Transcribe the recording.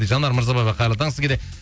жанар мырзабаева қайырлы таң сізге де